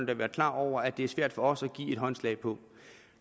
da være klar over at det er svært for os at give håndslag på